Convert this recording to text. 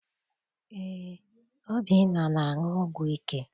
Eé, Obinna na- aṅụ ọgwụ ike?